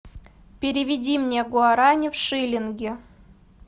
переведи мне гуарани в шиллинги